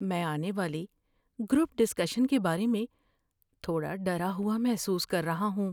میں آنے والی گروپ ڈسکشن کے بارے میں تھوڑا ڈرا ہوا محسوس کر رہا ہوں۔